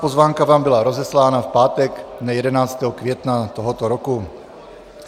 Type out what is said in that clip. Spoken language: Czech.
Pozvánka vám byla rozeslána v pátek dne 11. května tohoto roku.